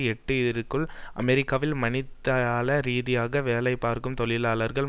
எட்டு இற்குள் அமெரிக்காவில் மணித்தியால ரீதியாக வேலைபார்க்கும் தொழிலாளர்களில்